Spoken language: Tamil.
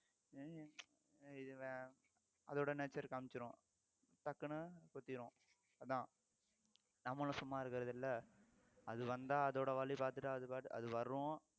அதோட nature காமிச்சிரும் டக்குன்னு குத்திரும் அதான் நம்மளும் சும்மா இருக்குறது இல்லை அது வந்தா அதோட வழி பார்த்துட்டா அது பாட்டுக்கு அது வரும்